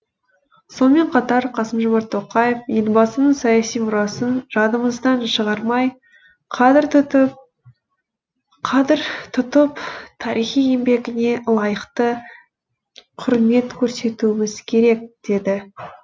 сонымен қатар қасым жомарт тоқаев елбасының саяси мұрасын жадымыздан шығармай қадір тұтып тарихи еңбегіне лайықты құрмет көрсетуіміз керек деді